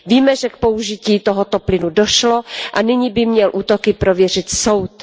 Víme, že k použití tohoto plynu došlo, a nyní by měl útoky prověřit soud.